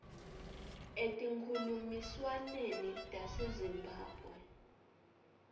etinkhulumiswaneni tase zimbabwe